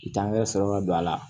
Dankɛrɛ sɔrɔ ka don a la